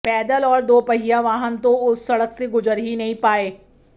पैदल और दोपहिया वाहन तो उस सड़क से गुजर ही नही पाए